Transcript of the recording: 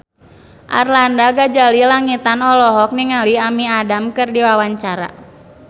Arlanda Ghazali Langitan olohok ningali Amy Adams keur diwawancara